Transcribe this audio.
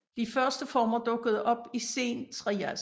De første former dukkede op i sen Trias